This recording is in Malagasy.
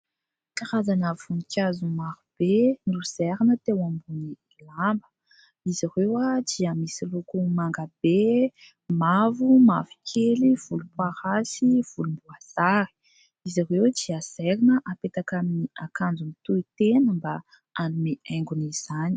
Karazana voninkazo maro be nozairina teo ambony lamba. Izy ireo dia misy loko manga be, mavo, mavo kely, volom-parasy, volomboasary. Izy ireo dia zairina hapetaka amin'ny akanjo mitoy tena mba hanome haingony izany.